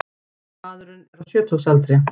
Maðurinn er á sjötugsaldri